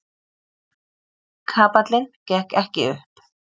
Kapallinn gekk ekki upp.